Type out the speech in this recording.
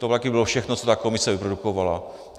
To také bylo všechno, co ta komise vyprodukovala.